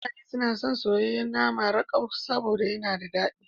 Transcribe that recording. Mutane suna son soyayyen nama rakau saboda yana da dadi.